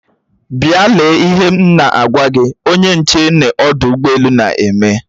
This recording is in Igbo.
Bịa! lee ihe m na-agwa gi onye nche n'ọdụ ụgbọ elu na-eme!